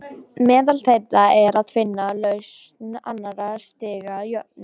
Meðal þeirra er að finna lausn annars stigs jöfnu.